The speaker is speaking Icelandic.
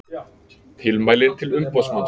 Tilmælin til umboðsmanns